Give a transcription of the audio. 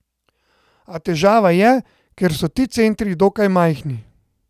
A težava je, ker so ti centri dokaj majhni.